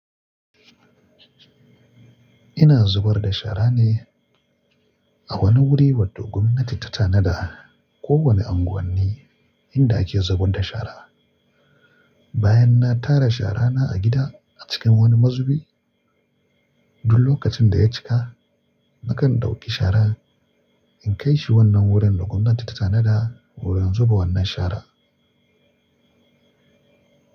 Ina zubar da shara ne a wani wuri wanda gwamnati ta tanada ko wani anguwanin inda ake zubar da shara. Bayan na tara shara na a gida a cikin wani mazubi, duk lokacin da ya cika, nakan ɗauki shara in kai shi wannan wurin da gwamnati ta tanada wurin zuba wannan shara.